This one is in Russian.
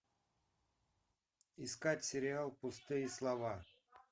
искать сериал пустые слова